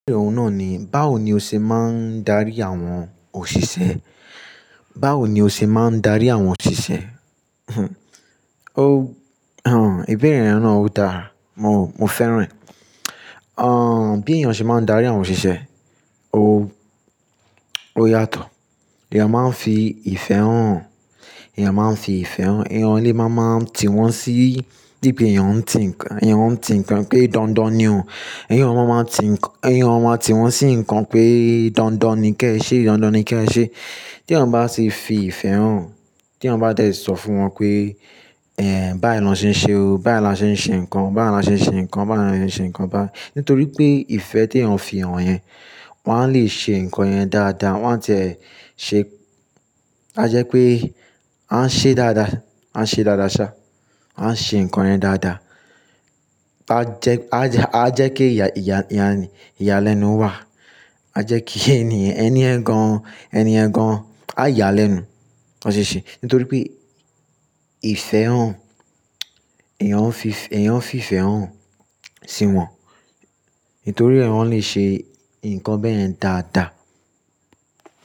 Ìbéèrè ọ̀nà ni, báwo ni o ṣe máa ń darí àwọn òṣìṣẹ́? Báwo ni o ṣe máa ń darí àwọn òṣìṣẹ́? Ìbéèrè rẹ̀ náà ó dára, mo, mo fẹ́ràn. Ọ̀n, bí èèyàn ṣe máa ń darí àwọn òṣìṣẹ́? O, ó yàtọ̀. Ẹ̀yàn máa ń fi ìfẹ́ hàn, ẹ̀yàn máa ń fi ìfẹ́ hàn, èèyàn ní má máa ń tiwọn sí bíi pé èèyàn ń ti nǹkan, èèyàn ń ti nǹkan pé dandan ni o. Èèyàn máa ń ti nk-- èèyàn máa tiwọn sí nǹkan pé dandan ni kí ẹ ṣe, dandan ni kí ẹ ṣe. Tí èèyàn bá ṣe fi ìfẹ́ hàn, tí èèyàn bá tẹ̀ sọ fún wọn pé, báyìí lọ ṣẹ́ ṣe o, báyìí lọ ṣẹ́ ṣe nǹkan, báyìí lọ ṣẹ́ ṣe nǹkan, báyìí lọ ṣe nǹkan bá," nítorí pé ìfẹ́ tí èèyàn fi hàn yẹn, wọn á lè ṣe nǹkan yẹn dáadáa, wọn a tẹ̀ ṣẹ́, a jẹ́ pé a ń ṣe dáadáa, a ń ṣe dáadáa ṣá, a ń ṣe nǹkan yẹn dáadáa. A jẹ́, a jẹ́, a jẹ́ kí ìyà, ìyà, ìyàlẹ́nu wà, a jẹ́ kí ẹnìyẹn, ẹni ẹ̀ gan-an, ẹni ẹ̀ gan-an, a yàlẹ́nu lọ ṣiṣẹ́. Nítorí pé ìfẹ́ hàn, èèyàn ń fi ìfẹ́, èèyàn fi ìfẹ́ hàn sí wọn. Nítorí èèyàn lè ṣe nǹkan bẹ́ẹ̀ yẹn dáadáa.